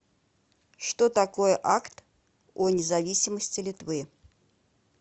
что такое акт о независимости литвы